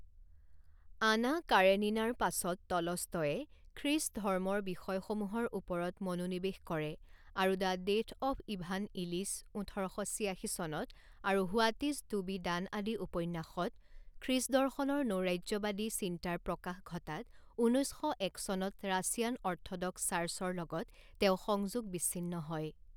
আনা কাৰেনিনাৰ পাছত টলষ্টয়ে খ্ৰীষ্ট ধৰ্মৰ বিষয়সমূহৰ ওপৰত মনোনিবেশ কৰে আৰু the death of Ivan Ilyich ওঠৰ শ ছিয়াশী চনত আৰু what is to be done আদি উপন্যাসত খ্ৰীষ্ট দৰ্শনৰ নৈৰাজ্যবাদী চিন্তাৰ প্ৰকাশ ঘটাত ঊনৈছ শ এক চনত ৰাছিয়ান অৰ্থডক্স চাৰ্চৰ লগত তেওঁ সংযোগ বিচ্ছিন্ন হয়।